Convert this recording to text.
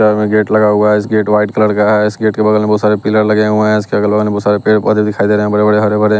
gate लगा हुआ है इस गेट व्हाइट कलर का है इस गेट के बगल में बहुत सारे पिलर लगे हुए हैं इसके अगल बगल में बहुत सारे पेड़ पौधे दिखाई दे रहे हैं बड़े बड़े हरे भरे--